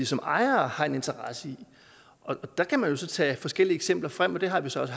som ejere har en interesse i og der kan man jo så tage forskellige eksempler frem og det har vi så også